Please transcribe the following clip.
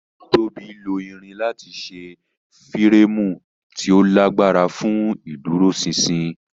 Tóbi Lo irin lati ṣe fireemu ti o lagbara fun iduroṣinṣin.